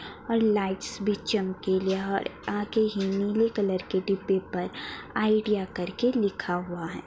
और लाइट्स भी चमकीली है और आगे ही नीले कलर के डिब्बे पर आईडिया कर के लिखा हुआ है।